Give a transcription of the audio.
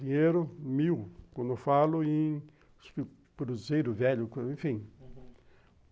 Dinheiro, mil, quando falo, em cruzeiro velho, enfim.